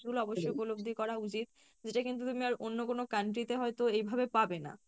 গুলো অবশ্যই উপলব্ধি করা উচিৎ যেটা কিন্তু তুমি আর অন্য কোনো country তে হয়তো এইভাবে পাবে না ।